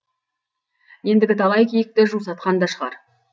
ендігі талай киікті жусатқан да шығар